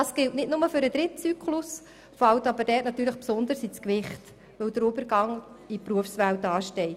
Das gilt nicht nur für den dritten Zyklus, fällt dort jedoch besonders ins Gewicht, weil der Übergang in die Berufswelt ansteht.